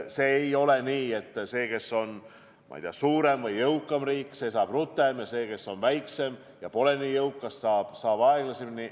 See ei ole nii, et see, kes on, ma ei tea, suurem või jõukam riik, saab rutem, ja see, kes on väiksem ja pole nii jõukas, saab aeglasemalt.